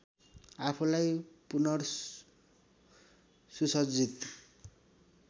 आफूलाई पुनर्सुसज्जित